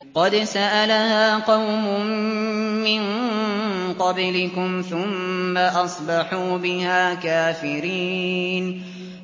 قَدْ سَأَلَهَا قَوْمٌ مِّن قَبْلِكُمْ ثُمَّ أَصْبَحُوا بِهَا كَافِرِينَ